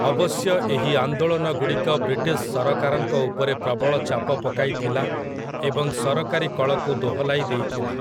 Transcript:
ଅବଶ୍ୟ ଏହି ଆନ୍ଦୋଳନଗୁଡ଼ିକ ବ୍ରିଟିଶ୍ ସରକାରଙ୍କ ଉପରେ ପ୍ରବଳ ଚାପ ପକାଇଥିଲା ଏବଂ ସରକାରୀ କଳକୁ ଦୋହଲାଇ ଦେଇଥିଲା ।